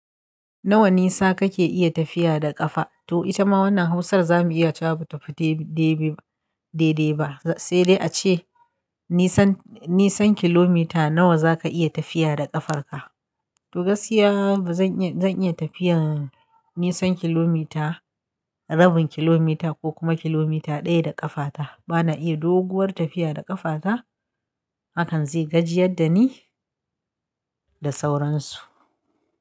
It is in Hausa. Nawa nisa kake iya tafiya da ƙafa? To ita ma wannan hausar zamuyi ta abu tafiye-tafiye de-deba. Sai dai ace nisan-nisan kilomita nawa zaka iya tafiya da ƙafarka. To gaskiya zan iya tafiyar nisan kilomita, rabin kilomita ko kuma kilomita ɗaya da ƙafata. Bana iya doguwar tafiya da ƙafata. Hakan zai gajiyar da ni da sauransu.